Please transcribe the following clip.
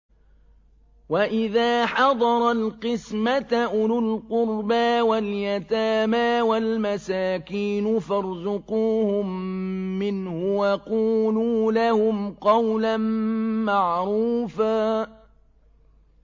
وَإِذَا حَضَرَ الْقِسْمَةَ أُولُو الْقُرْبَىٰ وَالْيَتَامَىٰ وَالْمَسَاكِينُ فَارْزُقُوهُم مِّنْهُ وَقُولُوا لَهُمْ قَوْلًا مَّعْرُوفًا